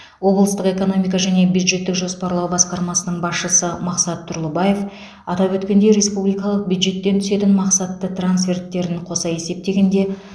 облыстық экономика және бюджеттік жоспарлау басқармасының басшысы мақсат тұрлыбаев атап өткендей республикалық бюджеттен түсетін мақсатты трансферттерін қоса есептегенде